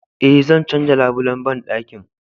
Eh, zan canja labulen bandakin